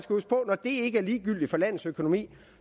når det ikke er ligegyldigt for landets økonomi